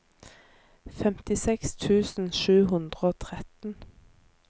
femtiseks tusen sju hundre og tretten